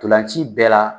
Ntolan ci bɛɛ la